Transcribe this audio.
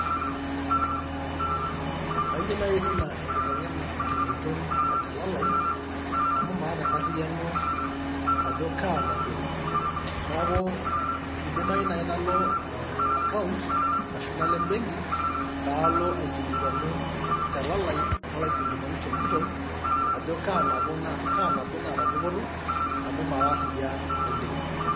Kayieu naaji tina enkitengena tenguton otelalai. amu maata enkariano ajo kaa nabo, niaku idimayu naji nalo account ashu nalo e benki paalo aikilikuanu te lalai nalo aikilikwanu tenguton ajo kaa nabo naata dupoto amu maara ariak oleng.